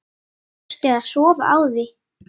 Þurfti að sofa á því.